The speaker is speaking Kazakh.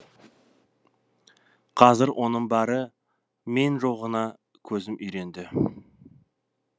қазір оның бары мен жоғына көзім үйренді